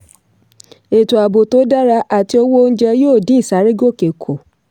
ètò ààbò tó dára àti owó oúnjẹ yóò dín ìsárégòkè kù.